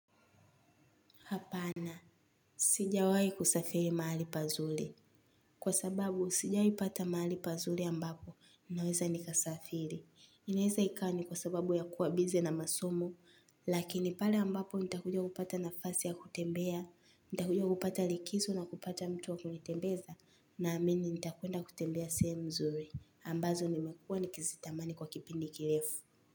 Hapana sijawai kusafiri mahali pazuri. Kwa sababu, sijawai pata mahali pazuri ambapo, ninaweza nikasafiri. Inaweza ikawa ni kwa sababu ya kuwa bize na masomo, lakini pale ambapo nita kuja kupata nafasi ya kutembea, nita kuja kupata likizo na kupata mtu wa kunitembeza, naamini nita kwenda kutembea sehemu nzuri. Ambazo nimekuwa nikizitamani kwa kipindi kirefu.